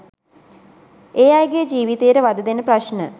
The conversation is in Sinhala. ඒ අයගේ ජීවිතයට වධදෙන ප්‍රශ්න